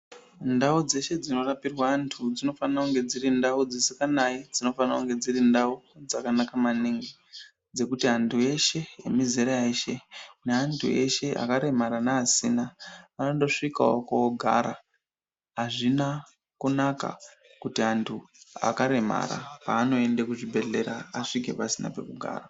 Ndau dzeshe dzinorapirwa antu dzinofanira kunge dziri ndau dzisinganayi, dzinofanire kunge dziri ndau dzakanaka maningi dzekuti antu eshe emizera yeshe neantu eshe akaremara neasina vanondosvikawo kogara. Azvina kunaka kuti vantu vakaremara vanoende kuzvibhadhlera vasvike pasina pekugara.